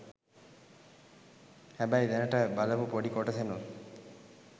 හැබැයි දැනට බලපු පොඩි කොටසෙනුත්